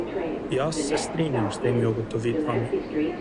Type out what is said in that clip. Jaz se strinjam s temi ugotovitvami.